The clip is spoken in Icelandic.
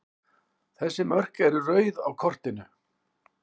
Þessi mörk eru rauð á kortinu.